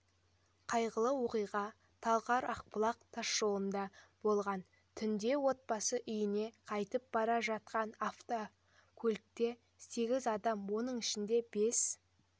қайғылыоқиға талғар-ақбұлақ тасжолында болған түнде отбасы үйіне қайтып бара жатқан автокөлікте сегіз адам оның ішінде бес